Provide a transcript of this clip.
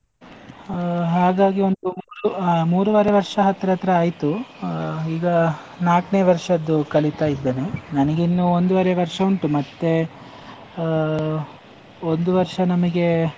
ಹ ಹಾಗಾಗಿ ಒಂದು ಮೂರು ಆ ಮೂರೂವರೆ ವರ್ಷ ಹತ್ರ ಹತ್ರ ಆಯ್ತು, ಅಹ್ ಈಗ ನಾಕ್ನೇ ವರ್ಷದ್ದು ಕಲೀತ ಇದ್ದೇನೆ, ನಂಗಿನ್ನು ಒಂದುವರೆ ವರ್ಷ ಉಂಟು ಮತ್ತೆ ಅಹ್, ಒಂದು ವರ್ಷ ನಮಿಗೆ.